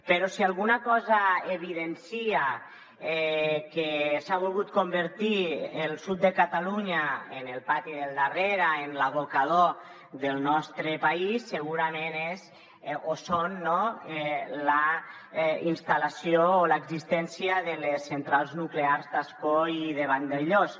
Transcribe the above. però si alguna cosa evidencia que s’ha volgut convertir el sud de catalunya en el pati del darrere en l’abocador del nostre país segurament és la instal·lació o l’existència de les centrals nuclears d’ascó i de vandellòs